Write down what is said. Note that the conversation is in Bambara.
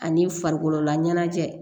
Ani farikololaɲɛnajɛ